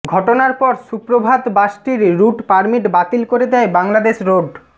ঘটনার পর সুপ্রভাত বাসটির রুট পারমিট বাতিল করে দেয় বাংলাদেশ রোড